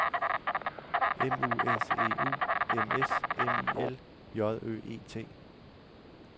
M U S E U M S M I L J Ø E T